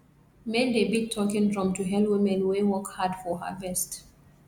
men dey beat talking drum to hail women wey work hard for harvest